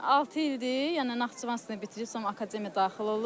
Altı ildir, yəni Naxçıvanda bitirib sonra akademiyaya daxil olub.